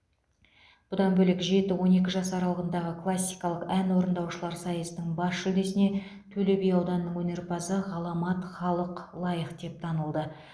бұдан бөлек жеті он екі жас аралығында классикалық ән орындаушылар сайысының бас жүлдесіне төлеби ауданының өнерпазы ғаламат халық лайық деп танылды